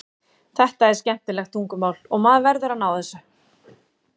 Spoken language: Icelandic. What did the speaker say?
Þetta er skemmtilegt tungumál og maður verður að ná þessu.